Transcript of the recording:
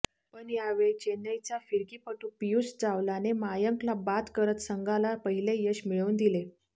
पण यावेळी चेन्नईचा फिरकीपटू पीयुष चावलाने मयांकला बाद करत संघाला पहिले यश मिळवून दिले